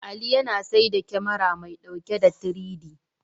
Ali yana saida kyamara mai ɗauke da 3-D.